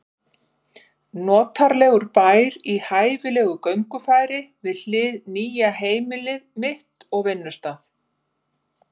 Notalegur bær í hæfilegu göngufæri við hið nýja heimili mitt og vinnustað.